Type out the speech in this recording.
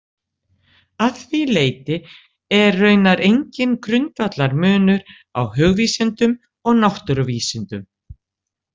Að því leyti er raunar enginn grundvallarmunur á hugvísindum og náttúruvísindum.